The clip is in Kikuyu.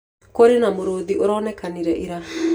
Kũrĩ na mũrũũthi uronekire ira.